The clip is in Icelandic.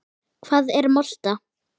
Hvað er molta?